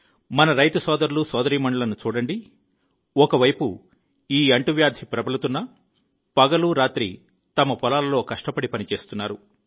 మన రైతు సోదరులు సోదరీమణులను చూడండి ఒక వైపు ఈ అంటువ్యాధి ప్రబలుతున్నా పగలు రాత్రి తమ పొలాలలో కష్టపడి పనిచేస్తున్నారు